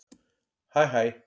Hæ hæ